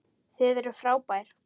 Þið eruð frábær.